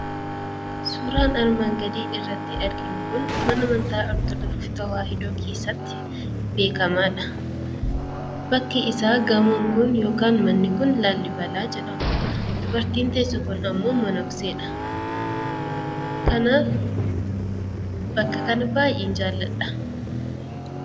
Suuraan armaan gadii irratti arginu kun mana amantaa ortodoksii tawaahidoo keessatti beekamaadha. Bakki isaa manni kun yookaan gamoon kun Laallibalaa jedhama. Dubartiin teesse sun immoo monokseedha. Kanaaf bakka kana baay'een jaalladha.